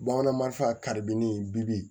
Bamanan marifa ka di ne ye bibi in